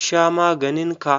Sha maganin ka!